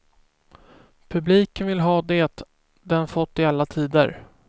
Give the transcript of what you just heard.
Publiken vill ha det den fått i alla tider.